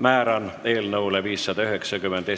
Määran eelnõu 590